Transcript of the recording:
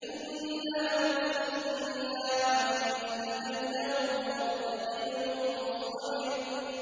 إِنَّا مُرْسِلُو النَّاقَةِ فِتْنَةً لَّهُمْ فَارْتَقِبْهُمْ وَاصْطَبِرْ